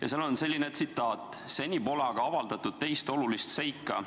Ja seal on selline tsitaat: "Seni pole aga avaldatud teist olulist seika.